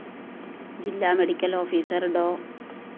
ജില്ല medical officer ഡോ